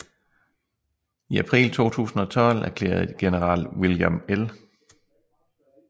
I april 2012 erklærede general William L